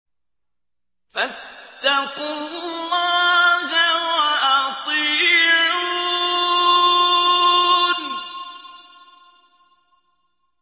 فَاتَّقُوا اللَّهَ وَأَطِيعُونِ